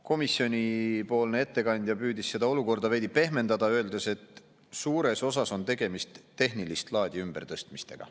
Komisjonipoolne ettekandja püüdis seda olukorda veidi pehmendada, öeldes, et suures osas on tegemist tehnilist laadi ümbertõstmistega.